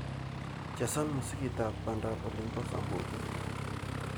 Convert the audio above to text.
Chesan musikitab bandab olin bo samburu